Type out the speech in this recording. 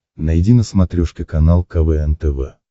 найди на смотрешке канал квн тв